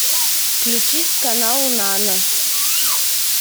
включить канал нано